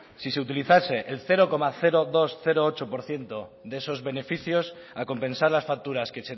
si se utilizase el cero coma doscientos ocho por ciento de esos beneficios a compensar las facturas que